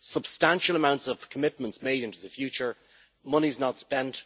Substantial amounts of commitments are made into the future and the money is not spent.